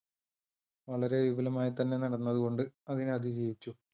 വളരെ വിപുലമായി തന്നെ നടന്നത് കൊണ്ട് അതിനെ അതിജീവിച്ചു.